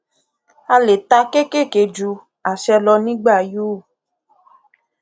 a le tà kékèké ju àṣẹ lọ nígbà yóò